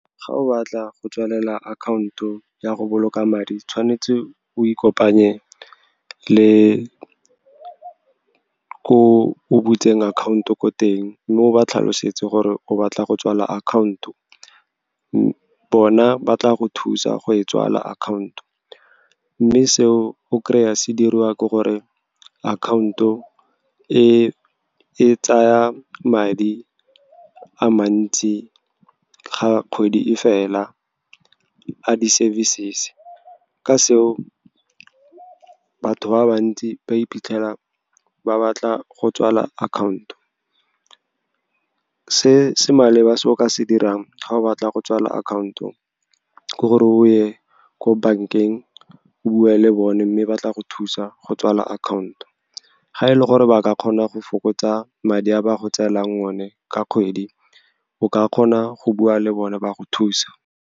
Ga o batla go tswalela akhaonto ya go boloka madi, tshwanetse o ikopanya le ko o butseng akhaonto ko teng, mme o ba tlhalosetse gore o batla go tswala akhaonto. Bona ba tla go thusa go e tswala akhaonto mme seo go kry-a se diriwa ke gore akhaonto e tsaya madi a mantsi ga kgwedi e fela, a di-services. Ka seo, batho ba bantsi ba iphitlhela ba batla go tswala akhaonto. Se se maleba se o ka se dirang ga o batla go tswala akhaonto ke gore o ye ko bankeng, o bue le bone, mme ba tla go thusa go tswala akhaonto. Ga e le gore ba ka kgona go fokotsa madi a ba go tselang yone ka kgwedi, o ka kgona go bua le bone ba go thusa.